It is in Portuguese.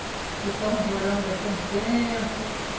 Ficamos morando aqui um tempo.